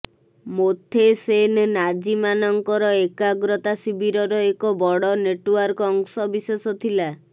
ମୋଥେସେନ ନାଜିମାନଙ୍କର ଏକଗ୍ରତା ଶିବିରର ଏକ ବଡ଼ ନେଟଓ୍ବାର୍କର ଅଂଶ ବିଶେଷ ଥିଲା